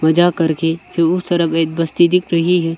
जा करके फिर उस तरफ एक बस्ती दिख रही है।